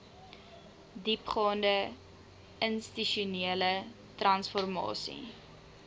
diepgaande institusionele transformasie